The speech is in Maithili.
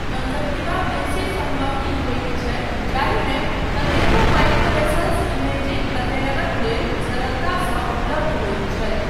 कंजंक्टिवा बेसी संवहनी होयत छै जाहिमे कतेको माइक्रोवेसल्स इमेजिंग अध्ययनक लेल सरलतासँ उपलब्ध होइत छै।